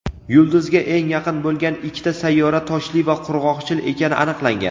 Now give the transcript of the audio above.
yulduzga eng yaqin bo‘lgan ikkita sayyora toshli va qurg‘oqchil ekani aniqlangan.